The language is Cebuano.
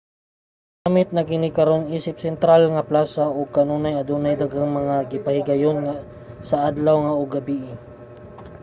ginagamit na kini karon isip sentral nga plasa ug kanunay adunay daghang mga gipahigayon sa adlaw ug gabii